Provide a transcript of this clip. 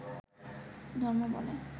ধর্ম বলে